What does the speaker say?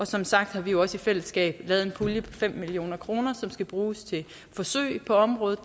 som sagt har vi jo også i fællesskab lavet en pulje på fem million kr som skal bruges til forsøg på området